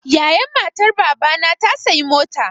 Yayan matar Baba na ta sayi mota.